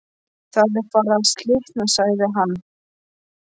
Það er farið að slitna sagði hann.